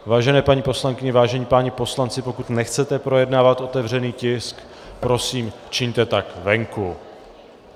Vážené paní poslankyně, vážení páni poslanci, pokud nechcete projednávat otevřený tisk, prosím, čiňte tak venku.